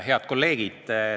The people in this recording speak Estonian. Head kolleegid!